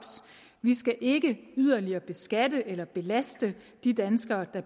vi skal ikke yderligere beskatte eller belaste de danskere der